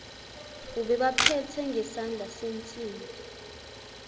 ubebaphethe ngesandla sensimbi